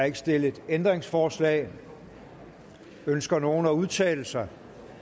ikke stillet ændringsforslag ønsker nogen at udtale sig